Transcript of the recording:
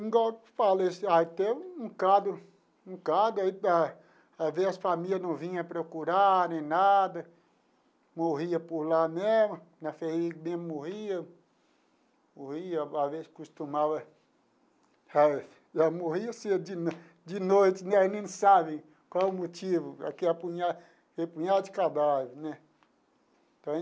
Igual eu falei, até um, um, às vezes as famílias não vinham procurar nem nada, morria por lá mesmo, na FHEMIG mesmo morria, morria, às vezes costumava sabe, morria cedo de de noite né, a gente sabe qual o motivo, aquele punhado, aquele punhado de cadáver, né?